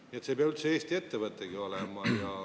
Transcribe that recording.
Nii et see ei pea üldse Eesti ettevõtegi olema.